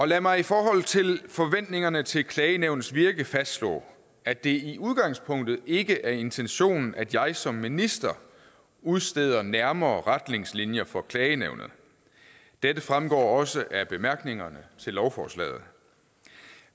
lad mig i forhold til forventningerne til klagenævnets virke fastslå at det i udgangspunktet ikke er intentionen at jeg som minister udsteder nærmere retningslinjer for klagenævnet dette fremgår også af bemærkningerne til lovforslaget